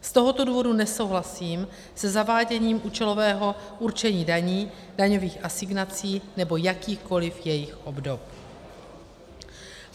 Z tohoto důvodu nesouhlasím se zaváděním účelového určení daní, daňových asignací nebo jakýchkoliv jejich obdob.